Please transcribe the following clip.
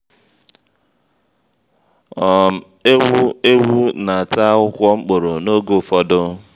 um eghu/ewu n'ata akwụkwọ mkpóró ógè ụfọdụ